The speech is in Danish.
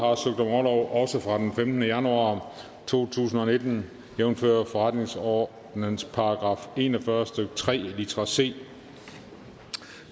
også fra den femtende januar to tusind og nitten jævnfør forretningsordenens § en og fyrre stykke tre litra c